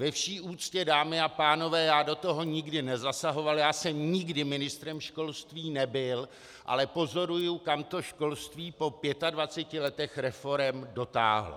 Ve vší úctě, dámy a pánové, já do toho nikdy nezasahoval, já jsem nikdy ministrem školství nebyl, ale pozoruji, kam to školství po 25 letech reforem dotáhlo.